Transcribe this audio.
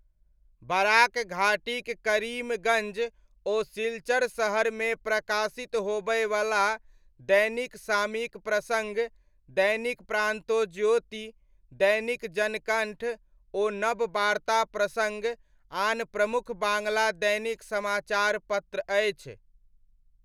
Barack घाटीक करीमगञ्ज ओ सिलचर शहरमे प्रकाशित होबयवला दैनिक सामयिक प्रसङ्ग, दैनिक प्रान्तोज्योति, दैनिक जनकण्ठ ओ नबबार्ता प्रसङ्ग आन प्रमुख बाङ्ग्ला दैनिक समाचार पत्र अछि।